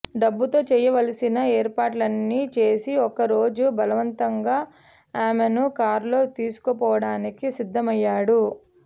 డబ్బుతో చేయవలసిన ఏర్పాట్లన్నీ చేసి ఒక రోజు బలవంతంగా ఆమెను కార్లో తీసుకుపోవడానికి సిద్ధమయ్యాడు